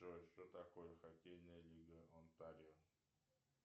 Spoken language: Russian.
джой что такое хоккейная лига онтарио